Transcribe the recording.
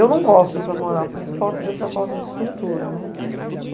Eu não gosto para morar por falta dessa falta de estrutura.